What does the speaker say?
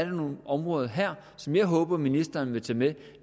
nogle områder her som jeg håber ministeren vil tage med